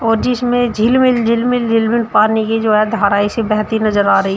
और जिसमें झिलमिल झिलमिल झिलमिल पानी की जो है धाराएं सी बहती नजर आ रही।